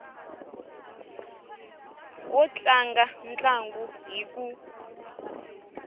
wo tlanga ntlangu hi ku